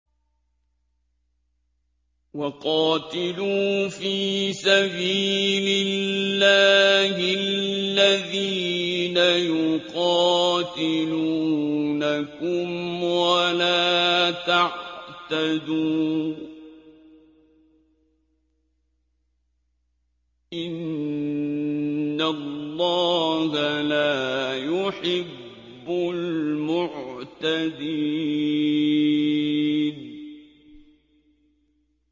وَقَاتِلُوا فِي سَبِيلِ اللَّهِ الَّذِينَ يُقَاتِلُونَكُمْ وَلَا تَعْتَدُوا ۚ إِنَّ اللَّهَ لَا يُحِبُّ الْمُعْتَدِينَ